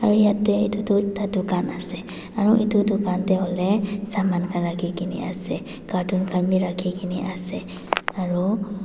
Aro yate etutu tatu khan ase aro etu tugan tey hoile saman khan rakhe kena ase cartoon khan beh rakhe kena ase aro.